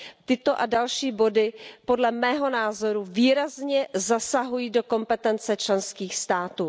Tyto a další body podle mého názoru výrazně zasahují do kompetence členských států.